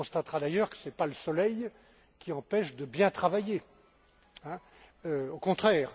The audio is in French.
On y constatera d'ailleurs que ce n'est pas le soleil qui empêche de bien travailler, au contraire.